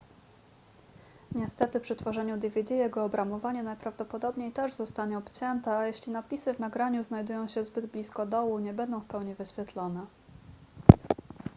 niestety przy tworzeniu dvd jego obramowanie najprawdopodobniej też zostanie obcięte a jeśli napisy w nagraniu znajdują się zbyt blisko dołu nie będą w pełni wyświetlone